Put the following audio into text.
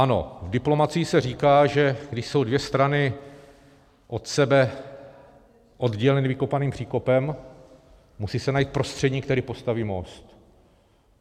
Ano, v diplomacii se říká, že když jsou dvě strany od sebe odděleny vykopaným příkopem, musí se najít prostředník, který postaví most.